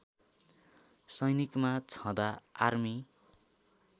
सैनिकमा छँदा आर्मी